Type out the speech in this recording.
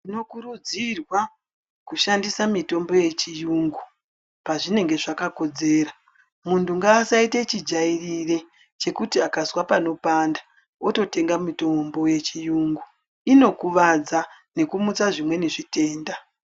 Tino kurudzirwa kushandisa mitombo ye chiyungu pa zvinenge zvaka kodzera muntu nga asaite chi jairire chekuti akazwa pano panda woto tenga mitombo ye chiyungu ino kuvadza neku mutsa zvimweni zvitenda.